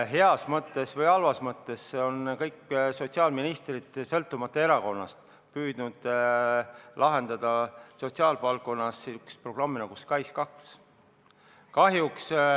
Heas või halvas mõttes on kõik sotsiaalministrid, sõltumata erakonnast, püüdnud lahendada sotsiaalvaldkonnas olevaid probleeme sellise programmiga nagu SKAIS2.